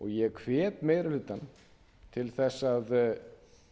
ég hvet meiri hlutann til þess að